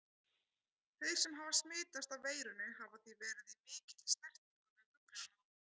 Þeir sem hafa smitast af veirunni hafa því verið í mikilli snertingu við fuglana.